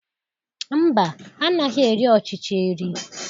Mba, anaghị eri ọchịchị eri